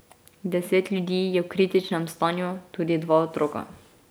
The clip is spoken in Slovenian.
Deset ljudi je v kritičnem stanju, tudi dva otroka.